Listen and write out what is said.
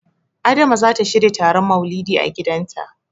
Adama zata shirya taron Maulidi a gidanta.